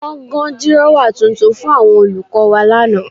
Wọ́n gan dírọ́wà tuntun fún àwọn olùkọ́ wa lánàá